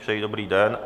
Přeji dobrý den.